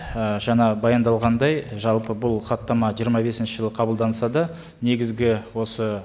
ы жаңағы баяндалғандай жалпы бұл хаттама жиырма бесінші жылы қабылданса да негізгі осы